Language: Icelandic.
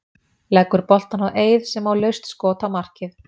Leggur boltann á Eið sem á laust skot á markið.